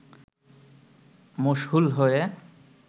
মশহুল হয়ে